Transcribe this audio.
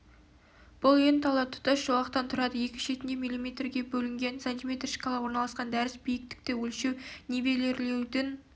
бұл ленталар тұтас жолақтан тұрады екі шетінде миллиметрге бөлінген см шкала орналасқан дәріс биіктікті өлшеу нивелирлеудің